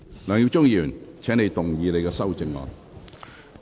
梁耀忠議員，請動議你的修正案。